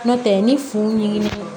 N'o tɛ ni funu